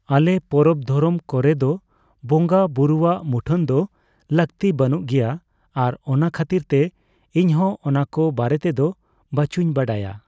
ᱟᱞᱮ ᱯᱚᱨᱚᱵ ᱫᱷᱚᱨᱚᱢ ᱠᱚᱨᱮᱫᱚ ᱵᱚᱸᱜᱟ ᱵᱩᱨᱩᱣᱟᱜ ᱢᱩᱴᱷᱟᱹᱱ ᱫᱚ ᱞᱟᱹᱠᱛᱤ ᱵᱟᱹᱱᱩᱜ ᱜᱮᱭᱟ ᱟᱨ ᱚᱱᱟ ᱠᱷᱟᱹᱛᱤᱨᱛᱮ ᱤᱧᱦᱚᱸ ᱚᱱᱟᱠᱚ ᱵᱟᱨᱮᱛᱮᱫᱚ ᱵᱟᱪᱩᱧ ᱵᱟᱲᱟᱭᱟ ᱾